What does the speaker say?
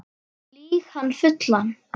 Lýg hann fullan